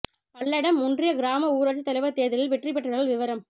பல்லடம் ஒன்றிய கிராம ஊராட்சித் தலைவா் தோ்தலில் வெற்றி பெற்றவா்கள் விவரம்